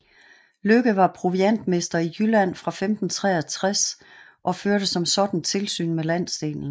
Lykke var proviantmester i Jylland fra 1563 og førte som sådan tilsyn med landsdelen